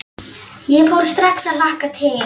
Ég fór strax að hlakka til.